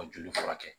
Ka joli furakɛ